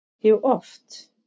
Jú, oft.